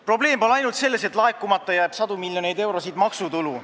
Probleem pole ainult selles, et laekumata jääb sadu miljoneid eurosid maksutulu.